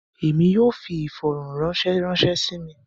Èmi yóò fí ifọ̀rọ̀ranṣẹ̀ ranṣẹ̀ sí mí.